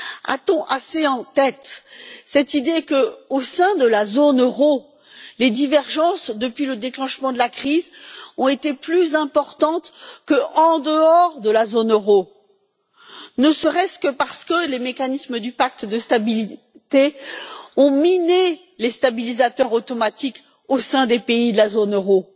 A t on assez en tête cette réalité que, au sein de la zone euro, les divergences depuis le déclenchement de la crise ont été plus importantes qu'en dehors de la zone euro? Ne serait ce que parce que les mécanismes du pacte de stabilité ont miné les stabilisateurs automatiques au sein des pays de la zone euro.